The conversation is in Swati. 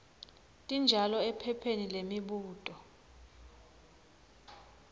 tinjalo ephepheni lemibuto